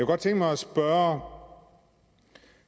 godt tænke mig at spørge